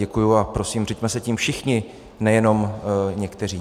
Děkuji a prosím, řiďme se tím všichni, nejenom někteří.